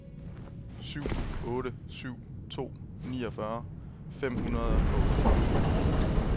syv otte syv to niogfyrre fem hundrede og otteogfyrre